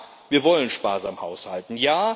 Ja, wir wollen sparsam haushalten.